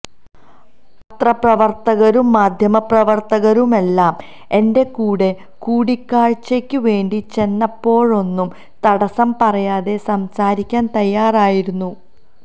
പത്രപ്രവര്ത്തകരും മാധ്യമപ്രവര്ത്തകരുമെല്ലാം എന്റെ കൂടെ കൂടിക്കാഴ്ചയ്ക്ക് വേണ്ടി ചെന്നപ്പോഴൊന്നും തടസ്സം പറയാതെ സംസാരിക്കാന് തയ്യാറായിരുന്നു